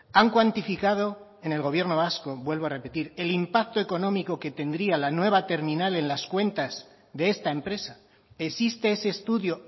han cuantificado en el gobierno vasco vuelvo a repetir el impacto económico que tendría la nueva terminal en las cuentas de esta empresa existe ese estudio